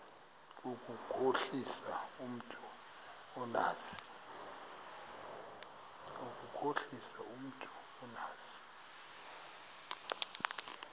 ukukhohlisa umntu omazi